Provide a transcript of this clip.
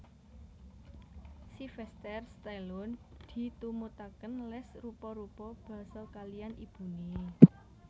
Syvester Stallone ditumutaken les rupa rupa basa kaliyan ibune